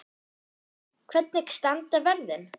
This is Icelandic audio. Gísli: Hvernig standa verðin?